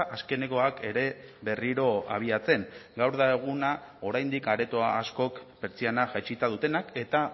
azkenekoak ere berriro abiatzen gaur da eguna oraindik aretoa askok pertsiana jaitsita dutenak eta